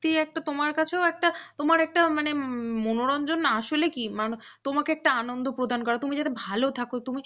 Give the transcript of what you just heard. একটা তোমার কাছেও একটা তোমার একটা মানে মনোরঞ্জন আসলে কি মানুষের তোমাকে একটা আনন্দ প্রদান করা তুমি যাতে ভালো থাকো তুমি